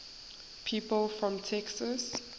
people from texas